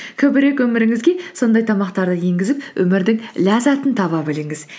көбірек өміріңізге сондай тамақтарды енгізіп өмірдің ләззатын таба біліңіз